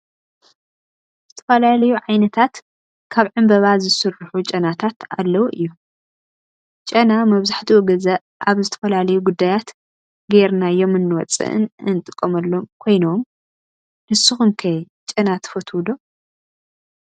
ዝተፈላለዩ ዓይነታት ካብ ዕንበባ ዝስሩሑ ጨናታት አለው እዮም ጨና መብዛሕቲኡ ግዜ አብ ዝተፈላለዩ ጉዳያት ገይራዮም እንወፀእን እንጥቀመሉ ኮይኖም ንስኩም ከ ጨና ትፈትው ዶ?